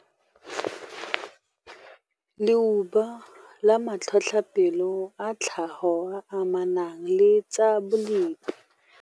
Leuba le matlhotlhapelo a tlhago a a amanang le tsa bolepi.